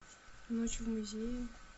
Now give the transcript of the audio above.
ночь в музее